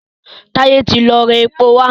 Taye tí lọ rá èpo wá.